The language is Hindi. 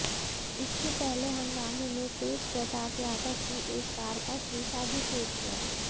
इससे पहले हंगामे में तेज प्रताप यादव की एक कार का शीशा भी टूट गया